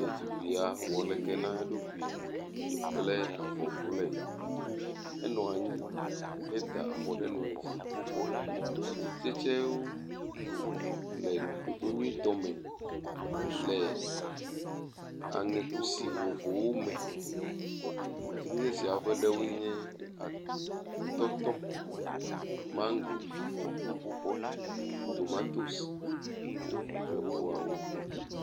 Ɖetugbia wɔ leke na eɖokui kple avɔ blɔe. Enɔ anyi heda afɔ ɖe nɔe dzi. atikutsetsewo le ɖoɖo nyuietɔ me le aŋekusi vovovowo me. Atikutsetsea ƒe ɖewoe nye atɔtɔ, mago, tomatosi kple bubuawo.